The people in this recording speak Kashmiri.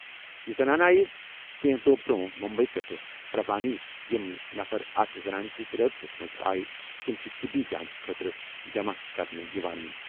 یہِ زنانہٕ آیہِ کینٛہہ دۄہ برٛونٛہہ مٗمبیی پٮ۪ٹھٕ پربھانی ۔ یِم نفر اتھ زنانہِ سۭتۍ رٲبطس منٛز آیہِ تِم چھِ طِبی جانچ خٲطرٕ جمع کرنہٕ یِوان۔